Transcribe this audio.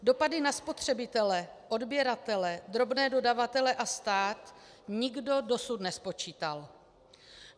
Dopady na spotřebitele, odběratele, drobné dodavatele a stát nikdo dosud nespočítal.